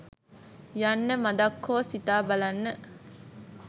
යන්න මදක් හෝ සිතා බලන්න.